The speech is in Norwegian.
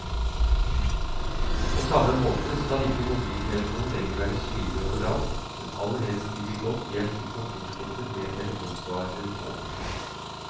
På samme måte skal ikke mobiltelefonen lenger være synlig overalt, men aller helst ligge godt gjemt i kontorskuffen med telefonsvareren på.